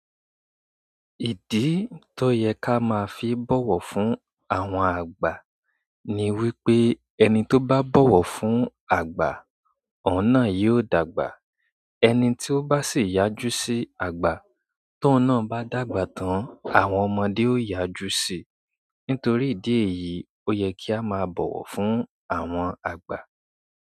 Ìdí tó yẹ ká máa fi bọ̀wọ̀ fún àwọn àgbà ni wípé ẹni tó bá bọ̀wọ̀ fún àgbà, òun náà yóò dàgbà. Ẹni tí ó bá sì yájú sí àgbà tóun náà bá dàgbà tán, àwọn ọmọdé ó yájú sí i. Nítorí ìdí èyí, ó yẹ kí á máa bọ̀wọ̀ fún àwọn àgbà.